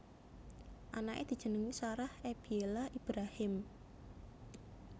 Anaké dijenengi Sarah Ebiela Ibrahim